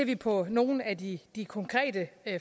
vi på nogle af de de konkrete